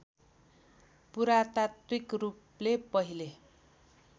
पुरातात्विक रूपले पहिले